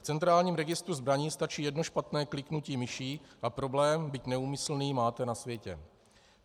V centrálním registru zbraní stačí jedno špatné kliknutí myší a problém, byť neúmyslný, máte na světě.